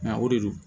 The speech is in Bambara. Nka o de don